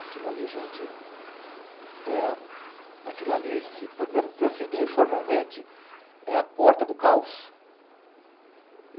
Aquilo ali, gente, é a... Aquilo ali, se podemos dizer assim, informalmente, é a porta do caos.